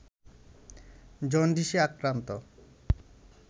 জন্ডিসে আক্রান্ত